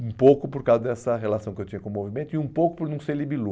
Um pouco por causa dessa relação que eu tinha com o movimento e um pouco por não ser Libilu.